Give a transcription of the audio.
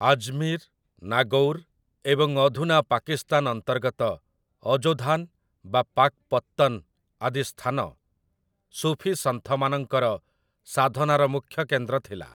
ଆଜ୍‌ମୀର୍‌, ନାଗୌର୍ ଏବଂ ଅଧୁନା ପାକିସ୍ତାନ ଅନ୍ତର୍ଗତ ଅଯୋଧାନ୍ ବା ପାକ୍‌ପତ୍ତନ୍ ଆଦି ସ୍ଥାନ ସୁଫିସନ୍ଥମାନଙ୍କର ସାଧନାର ମୂଖ୍ୟ କେନ୍ଦ୍ର ଥିଲା ।